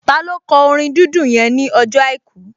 Taló kọ orin dídùn yẹn ní ọjọ́ àìkú?